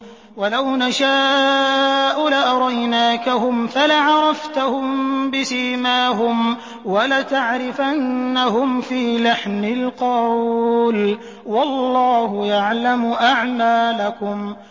وَلَوْ نَشَاءُ لَأَرَيْنَاكَهُمْ فَلَعَرَفْتَهُم بِسِيمَاهُمْ ۚ وَلَتَعْرِفَنَّهُمْ فِي لَحْنِ الْقَوْلِ ۚ وَاللَّهُ يَعْلَمُ أَعْمَالَكُمْ